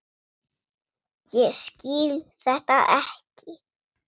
Ég skil þetta ekki.